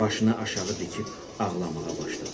Başını aşağı dikib ağlamağa başladı.